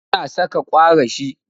Ana saƙa kwarashi.